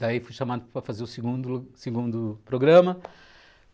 Daí fui chamado para fazer o segundo segundo programa.